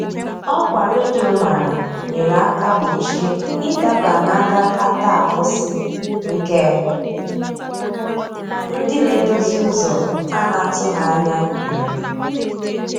Ọkwa redio mara nyere aka gbochie ị daba n' agakata akwụsị, nke ndị na-edozi ụzọ a na-atụghị anya mere.